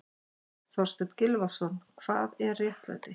Þorstein Gylfason, Hvað er réttlæti?